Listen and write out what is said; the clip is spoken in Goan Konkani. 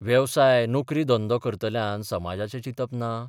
वेवसाय नोकरी धंदो करतल्यान समाजाचें चिंतप ना?